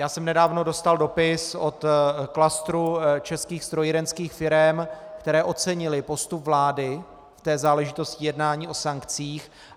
Já jsem nedávno dostal dopis od klastru českých strojírenských firem, které ocenily postup vlády v té záležitosti jednání o sankcích.